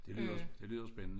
Det lyder det lyder spændende